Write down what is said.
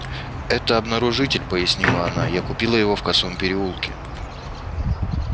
это обнаружитель пояснила она я купила его в косом переулке